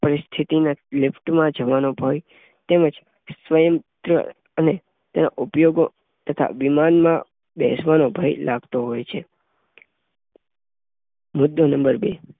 પરિસ્થિતિ ના લિફ્ટમાં જવાનો તેમજ સ્વયં સંચાલિત સીડીના ઉપયોગનો, વિમાનમાં બેસવાનો ભય લાગતો હોય છે. મુદ્દો નંબર બે